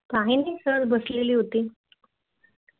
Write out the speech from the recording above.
काही नाही सर बसलेली होती